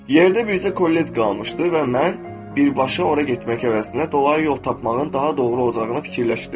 Yerdə bircə kollec qalmışdı və mən birbaşa ora getmək əvəzinə dolayı yol tapmağın daha doğru olacağını fikirləşdim.